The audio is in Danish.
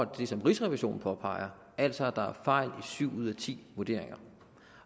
det som rigsrevisionen påpeger altså at der er fejl i syv ud af ti vurderinger